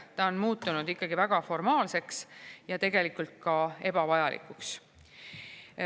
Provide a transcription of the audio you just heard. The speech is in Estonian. Ta on muutunud väga formaalseks ja tegelikult ka ebavajalikuks.